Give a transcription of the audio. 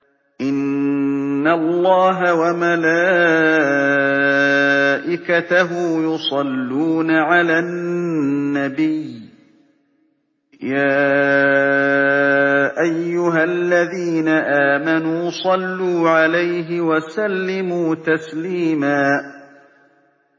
إِنَّ اللَّهَ وَمَلَائِكَتَهُ يُصَلُّونَ عَلَى النَّبِيِّ ۚ يَا أَيُّهَا الَّذِينَ آمَنُوا صَلُّوا عَلَيْهِ وَسَلِّمُوا تَسْلِيمًا